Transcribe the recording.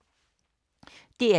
DR1